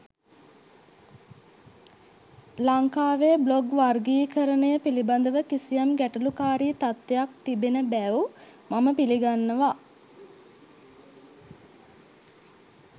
ලංකාවේ බ්ලොග් වර්ගීකරණය පිළිබඳව කිසියම් ගැටළුකාරී තත්වයක් තිබෙන බැව් මම පිළිගන්නවා.